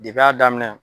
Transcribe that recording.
Depi a daminɛ